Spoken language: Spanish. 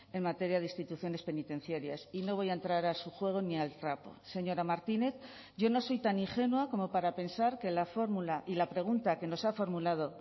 en materia de instituciones penitenciarias y no voy a entrar a su juego ni al trapo señora martínez yo no soy tan ingenua como para pensar que la fórmula y la pregunta que nos ha formulado